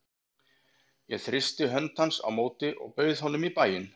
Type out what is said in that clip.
Ég þrýsti hönd hans á móti og bauð honum í bæinn.